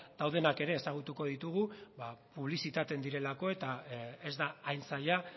daudenak ere ezagutuko ditugu ba publizitatzen direlako eta ez da hain zaila